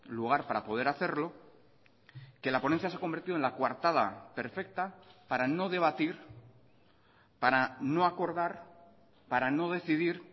lugar para poder hacerlo que la ponencia se ha convertido en la coartada perfecta para no debatir para no acordar para no decidir